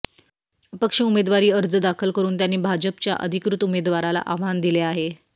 अपक्ष उमेदवारी अर्ज दाखल करून त्यांनी भाजपच्या अधिकृत उमेदवाराला आव्हान दिले आहे